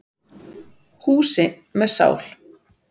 Húsi með sál.